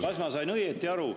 Kas ma sain õieti aru …